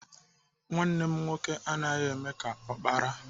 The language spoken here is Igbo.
Nwanne m nwoke anaghị eme ka ọkpara.